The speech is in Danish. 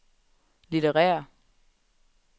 litterære